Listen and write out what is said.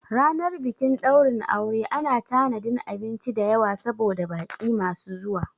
Ranar bikin ɗaurin aure ana tanadin abinci dayawa saboda baƙi masu zuwa